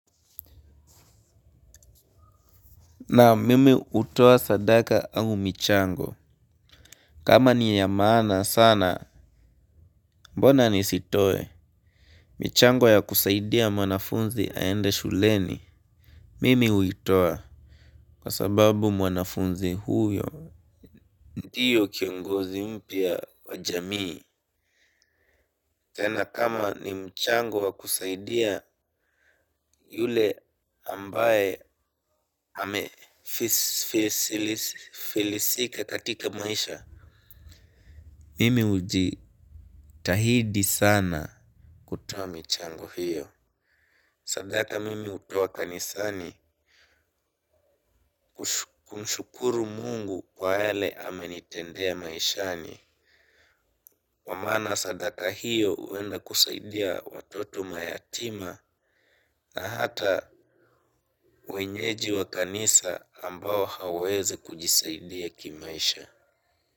Na mimi utoa sadaka au michango. Kama niya maana sana. Mbona nisitoe. Michango ya kusaidia mwanafunzi aende shuleni. Mimi uitoa. Kwa sababu mwanafunzi huyo ndiyo kiongozi mpyia wa jamii tena kama ni mchango wa kusaidia yule ambaye hamefilisika katika maisha. Mimi uji tahidi sana kutowa michango hiyo. Sadaka mimi utuwa kanisani kumshukuru mungu kwa yale amenitendea maishani. Wamana sadaka hiyo uenda kusaidia watoto mayatima na hata wenyeji wa kanisa ambao haweze kujisaidia kimaisha.